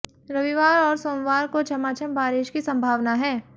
रविवार और सोमवार को झमाझम बारिश की संभावना है